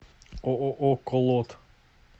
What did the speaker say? ооо колот